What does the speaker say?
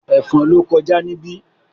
Ẹ̀fọn ló kọjá níbí